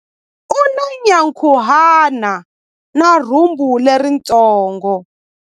U na nyankhuhana na rhumbu leritsongo.